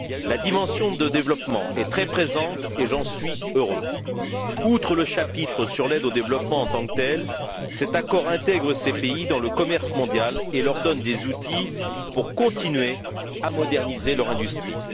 La dimension de développement est très présente, et j'en suis heureux. Outre, le chapitre sur l'aide au développement, en tant que tel, cet accord intègre ces pays dans le commerce mondial et leur donne des outils pour continuer à moderniser leur industrie.